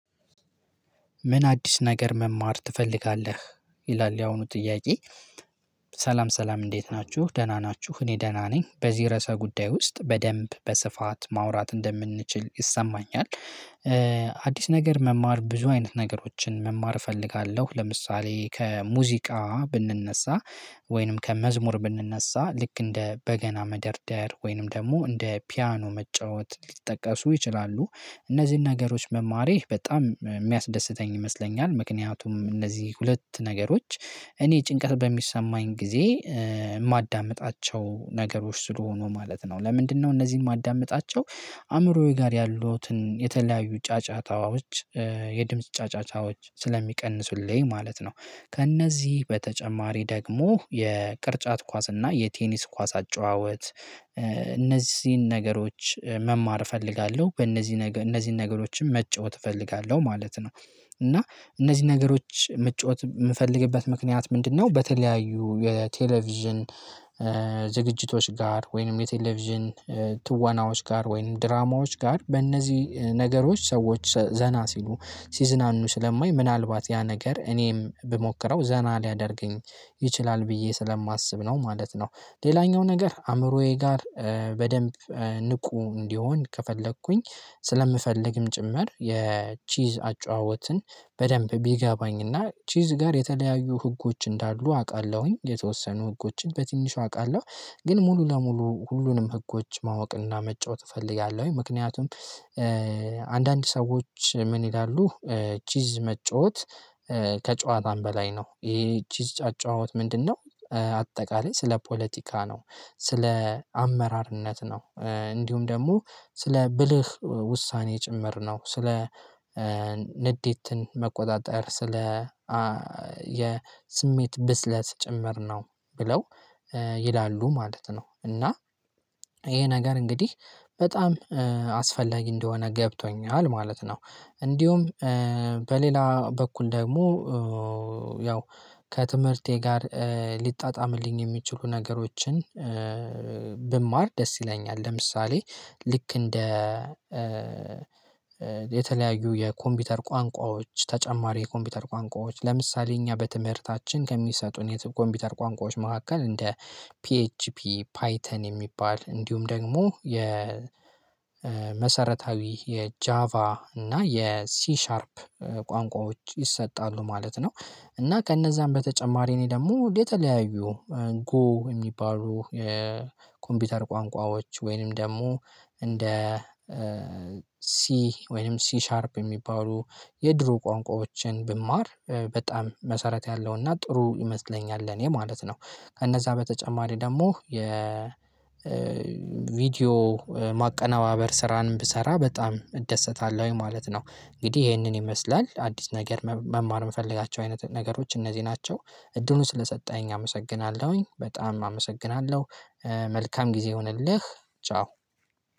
ምን አዲስ ነገር መማር ትፈልጋለህ? ይላል ያሁኑ ጥያቄ ሰላም ሰላም እንዴት ናችሁ ደህና ናችሁ እኔ ደህና ነኝ በዚህ ርዕሰ ጉዳይ ውስጥ በደንብ በስፋት ማውራት እንደምንችል ይሰማኛል አዲስ ነገር መማር ብዙ አይነት ነገሮችን መማር እፈልጋለሁ። ለምሳሌ ከሙዚቃ ብንነሳ ወይንም ከመዝሙር ብንነሳ ልክ እንደ በገና መደርደር ወይንም ደግሞ እንደ ፒያኖ መጫወት ሊጠቀሱ ይችላሉ። እነዚህን ነገሮች መማሬ በጣም የሚያስደስተኝ ይመስለኛል ምክንያቱም እነዚህ ሁለት ነገሮች እኔ ጭንቀት በሚሰማኝ ጊዜ ማዳምጣቸው ነገሮች ስለሆኑ ማለት ነው ለምንድነው እነዚህን ማዳምጣቸው አእምሮዬ ጋር ያሉትን የተለያዩ ጫጫታዎች የድምጽ ጫጫታዎች ስለሚቀንሱልኝ ማለት ነው። ከእነዚህ በተጨማሪ ደግሞ የቅርጫት ኳስ እና የቴኒስ ኳስ አጨዋወት እነዚህን ነገሮች መማር እፈልጋለሁ። በእነዚህ ነገር እነዚህን ነገሮችም መጫወት እፈልጋለሁ ማለት ነው። እና እነዚህ ነገሮች መጫወት የምፈልግበት ምክንያት ምንድነው በተለያዩ የቴሌቪዥን ዝግጅቶች ጋር ወይንም የቴሌቪዥን ትወናዎች ጋር ወይንም ድራማዎች ጋር በእነዚህ ነገሮች ሰዎች ዘና ሲሉ ሲዝናኑ ስለማይ ምናልባት ያ ነገር እኔም ብሞክረው ዘና ሊያደርገኝ ይችላል። ብዬ ስለማስብ ነው ማለት ነው። ሌላኛው ነገር አእምሮዬ ጋር በደንብ ንቁ እንዲሆን ከፈለኩኝ ስለምፈልግም ጭምር የቺዝ አጫዋወትን በደንብ ቢገባኝና ቺዝ ጋር የተለያዩ ህጎች እንዳሉ አውቃለሁኝ። የተወሰኑ ህጎችን በትንሹ አውቃለሁ። ግን ሙሉ ለሙሉ ሁሉንም ህጎች ማወቅና መጫወት እፈልጋለሁኝ ምክንያቱም አንዳንድ ሰዎች ምን ይላሉ ቺዝ መጫወት ከጨዋታም በላይ ነው። ይሄ ቺዝ አጨዋወት ምንድነው አጠቃላይ ስለ ፖለቲካ ነው። ስለ አመራርነት ነው እንዲሁም ደግሞ ስለ ብልህ ውሳኔ ጭምር ነው። ስለ ንዴትን መቆጣጠር፣ ስለ የስሜት ብስለት ጭምር ነው ብለው ይላሉ ማለት ነው። እና ይሄ ነገር እንግዲህ በጣም አስፈላጊ እንደሆነ ገብቶኛል ማለት ነው። እንዲሁም በሌላ በኩል ደግሞ ያው ከትምህርቴ ጋር ሊጣጣምልኝ የሚችሉ ነገሮችን ብማር ደስ ይለኛል። ለምሳሌ ልክ እንደ የተለያዩ የኮምፒውተር ቋንቋዎች ተጨማሪ የኮምፒውተር ቋንቋዎች ለምሳሌ እኛ በትምህርታችን ከሚሰጡን የኮምፒውተር ቋንቋዎች መካከል እንደ ፒኤችፒ፣ ፓይተን የሚባል እንዲሁም ደግሞ የ መሰረታዊ የጃቫ እና የሲሻርፕ ቋንቋዎች ይሰጣሉ ማለት ነው። እና ከነዛም በተጨማሪ እኔ ደግሞ የተለያዩ ጎ የሚባሉ የኮምፒውተር ቋንቋዎች ወይንም ደግሞ እንደ ሲ ወይንም ሲ ሻርፕ የሚባሉ የድሮ ቋንቋዎችን ብማር በጣም መሰረት ያለውና ጥሩ ይመስለኛል። ለኔ ማለት ነው ከነዛ በተጨማሪ ደግሞ የ ቪዲዮ ማቀነባበር ስራንም ብሰራ በጣም እደሰታለሁኝ ማለት ነው። እንግዲህ ይሄንን ይመስላል አዲስ ነገር መማር የምፈልጋቸው አይነት ነገሮች እነዚህ ናቸው። እድሉን ስለሰጠኸኝ አመሰግናለሁኝ። በጣም አመሰግናለሁ መልካም ጊዜ ይሁንልህ፣ ቻው።